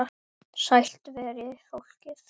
Sælt veri fólkið!